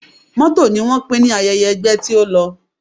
Mọ́tò ni wọ́n pín ní ayẹyẹ ẹgbẹ́ tí ó lọ